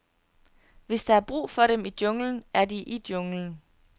Hvis der er brug for dem i junglen, er de i junglen.